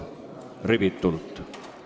Rivitult!